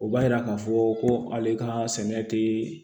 O b'a yira k'a fɔ ko ale ka sɛnɛ tɛ